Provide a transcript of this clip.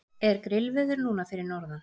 er grillveður núna fyrir norðan